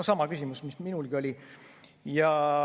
No sama küsimus, mis minulgi oli.